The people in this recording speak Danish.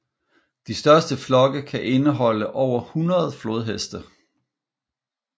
De største flokke kan indeholde over 100 flodheste